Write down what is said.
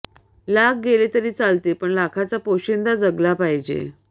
लाख गेले तरी चालतील पण लाखाचा पोशिंदा जगला पाहिजे